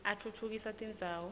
atfutfukisa tindzawo